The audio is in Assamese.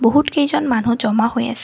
বহুতকেইজন মানুহ জমা হৈ আছে।